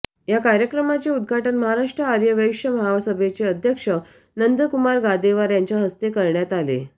या कार्यक्रमाचे उद्घाटन महाराष्ट्र आर्य वैश्य महासभेचे अध्यक्ष नंदकुमार गादेवार यांच्या हस्ते करण्यात आले